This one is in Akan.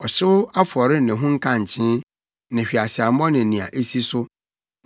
ɔhyew afɔre ne ho nkankyee, ne hweaseammɔ ne nea esi so.